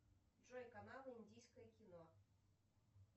джой канал индийское кино